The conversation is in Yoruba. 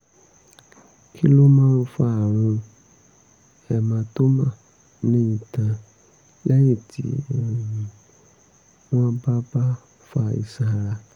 kí ló máa ń fa àrùn hematoma ní itan lẹ́yìn tí um wọ́n bá bá fa iṣan ara?